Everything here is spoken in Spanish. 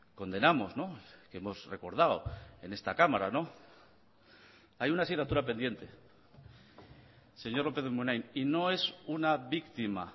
condenamos que hemos recordado en esta cámara hay una asignatura pendiente señor lópez de munain y no es una víctima